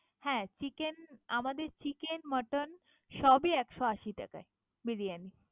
হ্যাঁ, chicken আমাদের chicken mutton সবই একশো আশি টাকায় বিরিয়ানী।